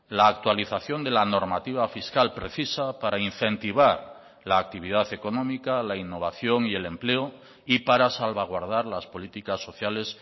la actualización de la normativa fiscal precisa para incentivar la actividad económica la innovación y el empleo y para salvaguardar las políticas sociales